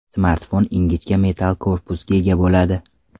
Smartfon ingichka metall korpusga ega bo‘ladi.